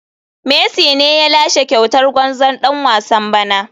Messi ne ya lashe kyautar gwarzon dan wasan bana.